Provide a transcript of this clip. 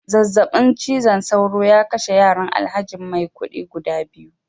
zazzabin cizon sauro ya kashe yaran alhaji maikudi guda biyu